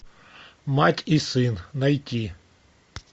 мать и сын найти